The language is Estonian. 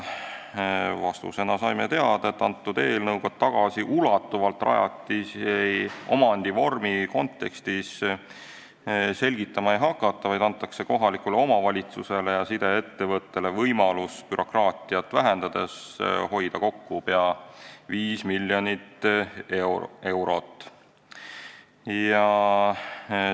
Vastuseks saime, et selle eelnõuga ei hakata tagasiulatuvalt rajatisi omandivormi kontekstis selgitama, vaid antakse kohalikule omavalitsusele ja sideettevõttele võimalus bürokraatiat vähendades hoida kokku pea 5 miljonit eurot.